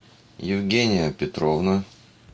евгения петровна